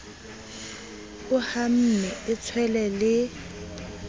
a hamme e tswele le